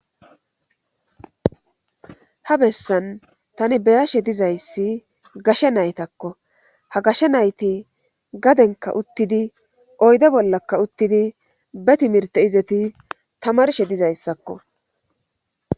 ha bessan tani be'ashe dizayssi gashe naytakko ha gashe nayti gadenka uttidi oyde bollakka uttidi be timirte izeti tamarshe dizayssakko